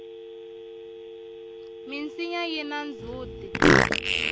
minsinya yina ndzhuti